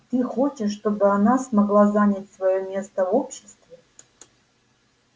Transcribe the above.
ты хочешь чтобы она смогла занять своё место в обществе